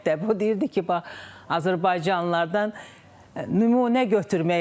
O deyirdi ki, bax, Azərbaycanlılardan nümunə götürmək lazımdır.